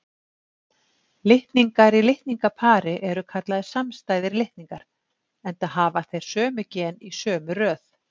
Litningar í litningapari eru kallaðir samstæðir litningar, enda hafa þeir sömu gen í sömu röð.